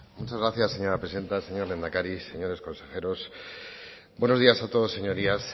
muchas gracias señora presidenta señor lehendakari señores consejeros buenos días a todos señorías